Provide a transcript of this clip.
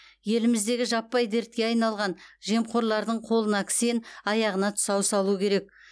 еліміздегі жаппай дертке айналған жемқорлардың қолына кісен аяғына тұсау салу керек